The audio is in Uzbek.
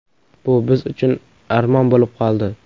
Bu biz uchun armon bo‘lib qoldi.